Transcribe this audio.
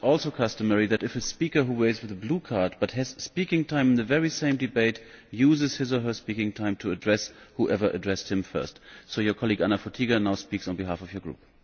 It is also customary that if a speaker who waits for the blue card but has speaking time in the very same debate uses his or her speaking time to address whoever addressed him first, so your colleague Anna Fotyga now speaks on behalf of your Group.